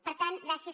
per tant gràcies